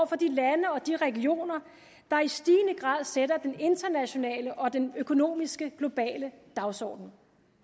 for de lande og de regioner der i stigende grad sætter den internationale og den økonomiske globale dagsorden